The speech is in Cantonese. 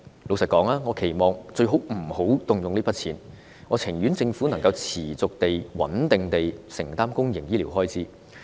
坦白說，我期望醫管局最好不要動用這筆錢，政府能夠持續穩定地承擔公營醫療開支。